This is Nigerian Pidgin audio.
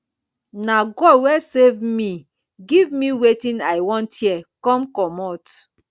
na god wey save me give me wetin i want here come comot